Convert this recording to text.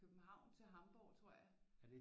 København til Hamborg tror jeg